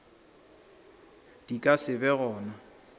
di ka se be gona